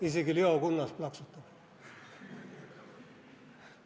Isegi Leo Kunnas plaksutab.